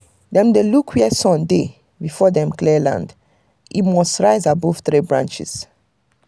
them dey look where sun dey before dem clear land - e must rise above three branches.